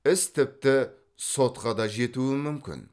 іс тіпті сотқа да жетуі мүмкін